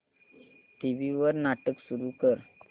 TV वर नाटक सुरू कर